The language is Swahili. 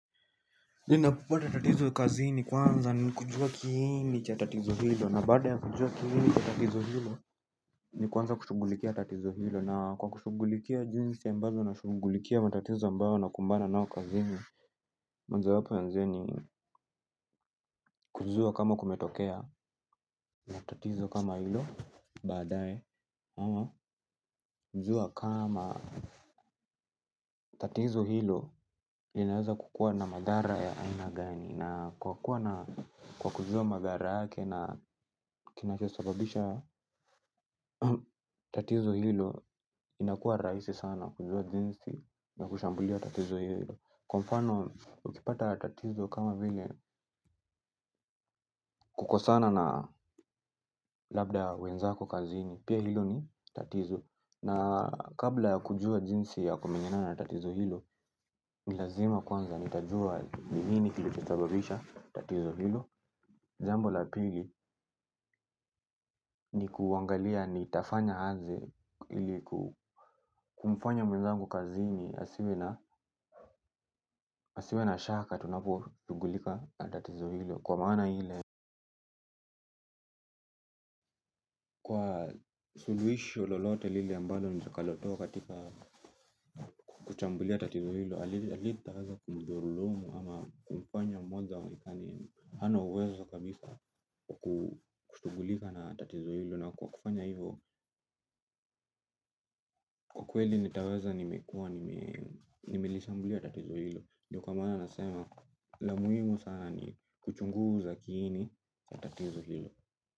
Ninapopata tatizo kazini, kwanza kujua kiini cha tatizo hilo, na baada ya kujua kiini cha tatizo hilo ni kuanza kulishughulikia tatizo hilo, na kwa kushughulikia jinsi ambavyo nashughulikia matatizo ambayo nakumbana nayo kazini kujua kama kumetokea matatizo kama hilo. Baadae ama kujua kama tatizo hilo linaweza kukua na madhara ya aina gani, na kwa kuwa na kwa kujua madhara yake na kinachosababisha tatizo hilo. Inakuwa rahisi sana kujua jinsi na kushambulia tatizo hilo. Kwa mfano ukipata tatizo kama vile kukosana na labda wenzako kazini, pia hilo ni tatizo. Na kabla ya kujua jinsi ya kumenyana na tatizo hilo. Ni lazima kwanza nitajua ni nini kilichosababisha tatizo hilo. Jambo la pili ni kuangalia nitafanya nini ili kumfanya mwenzangu kazini. Asiwe na shaka tunaposhughulika na tatizo hilo kwa maana hiyo. Suluhisho lolote lile ambalo nitakalotoa katika kuchambua tatizo hilo, halitamdhulumu ama kumfanya mwenzangu kazini asiwe na uwezo kabisa kushughulika na tatizo hilo. Na kwa kufanya hivyo. Kwa kweli nitaweza, nimekuwa nimelishambulia tatizo hilo, ndiyo kwa maana nasema la muhimu sana ni kuchunguza kiini cha tatizo hilo.